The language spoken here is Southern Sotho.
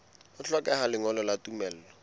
ho hlokeha lengolo la tumello